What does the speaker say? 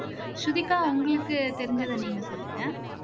ஸ்ருதிகா உங்களுக்கு தெரிஞ்சதை நீங்க சொல்லுங்க